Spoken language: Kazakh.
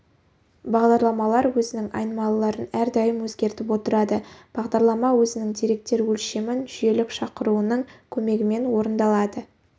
бағдарламалар өзінің айнымалыларын әрдайым өзгертіп отырады бағдарлама өзінің деректер өлшемін жүйелік шақыруының көмегімен орындалады